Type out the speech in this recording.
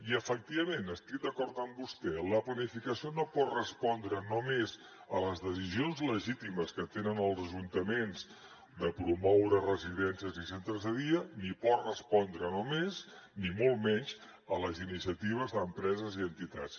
i efectivament estic d’acord amb vostè la planificació no pot respondre només a les decisions legítimes que tenen els ajuntaments de promoure residències i centres de dia ni pot respondre només ni molt menys a les iniciatives d’empreses i entitats